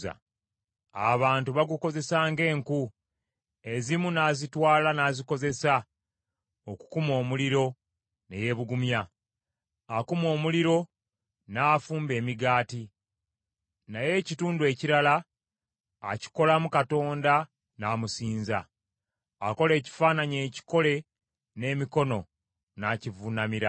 Abantu bagukozesa ng’enku, ezimu n’azitwala n’azikozesa okukuma omuliro ne yeebugumya. Akuma omuliro n’afumba emigaati. Naye ekitundu ekirala akikolamu katonda n’amusinza, akola ekifaananyi ekikole n’emikono n’akivuunamira.